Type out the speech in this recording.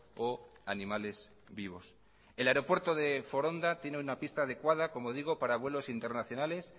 o animales vivos el aeropuerto de foronda tiene una pista adecuada como digo para vuelos internacionales